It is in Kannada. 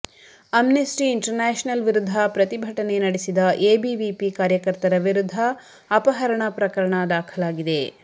ಅಮ್ನೆಸ್ಟಿ ಇಂಟರ್ ನ್ಯಾಷನಲ್ ವಿರುದ್ಧ ಪ್ರತಿಭಟನೆ ನಡೆಸಿದ ಎಬಿವಿಪಿ ಕಾರ್ಯಕರ್ತರ ವಿರುದ್ಧ ಅಪಹರಣ ಪ್ರಕರಣ ದಾಖಲಾಗಿದೆ